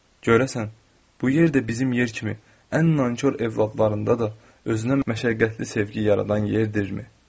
Görəsən bu yer də bizim yer kimi ən nankor övladlarından da özünə məşəqqətli sevgi yaradan yerdirmi?